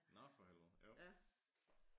Nå for helvede. Ja